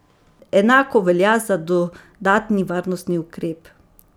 Enako velja za dodatni varnostni ukrep.